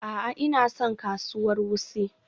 A'a, Ina son kasuwar Wuse.